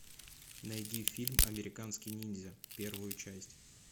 найди фильм американский ниндзя первую часть